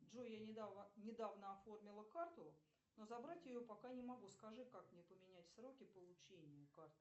джой я недавно оформила карту но забрать ее пока не могу скажи как мне поменять сроки получения карты